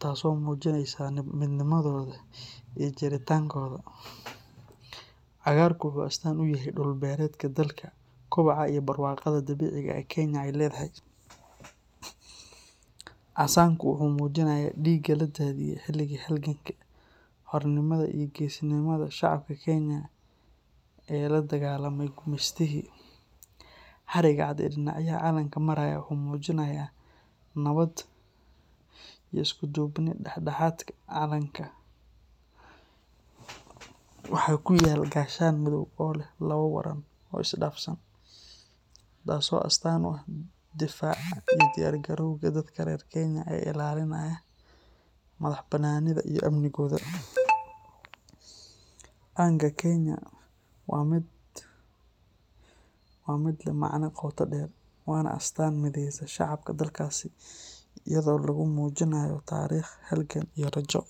taas oo muujinaysa midnimadooda iyo jiritaankooda. Cagaarku wuxuu astaan u yahay dhul-beereedka dalka, kobaca iyo barwaaqada dabiiciga ah ee Kenya ay leedahay. Casaanku wuxuu muujinayaa dhiigga la daadiyay xilligii halganka xornimada iyo geesinimada shacabka Kenyan ee la dagaalamay gumeystihii. Xarigga cad ee dhinacyada calanka maraya wuxuu muujinayaa nabad iyo isku duubni. Dhexdhexaadka calanka waxaa ku yaal gaashaan madow oo leh labo waran oo isdhaafsan, taas oo astaan u ah difaaca iyo diyaar garowga dadka reer Kenya ee ilaalinaya madax-bannaanidooda iyo amnigooda. Calanka Kenya waa mid leh macne qoto dheer, waana astaan mideysa shacabka dalkaas iyadoo lagu muujinayo taariikh, halgan, iyo rajo.